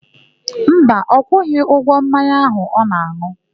Mba, ọ kwụghị ụgwọ mmanya áhù ọ na-an̄ụ.